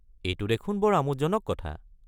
এইটো দেখোন বৰ আমোদজনক কথা।